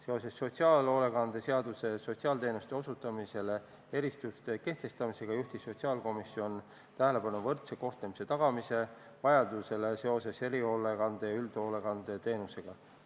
Seoses sotsiaalhoolekande seaduses sotsiaalteenuste osutamisele erisuste kehtestamisega juhtis sotsiaalkomisjon tähelepanu vajadusele kohelda võrdselt erihoolekande- ja üldhoolekandeteenuse kasutajaid.